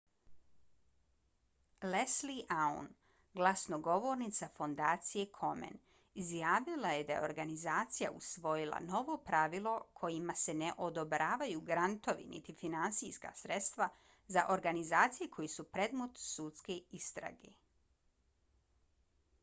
leslie aun glasnogovornica fondacije komen izjavila je da je organizacija usvojila novo pravilo kojima se ne odobravaju grantovi niti finansijska sredstva za organizacije koje su predmet sudske istrage